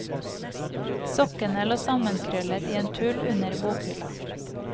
Sokkene lå sammenkrøllet i en tull under bokhylla.